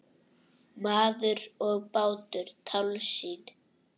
Maður og bátur- tálsýn?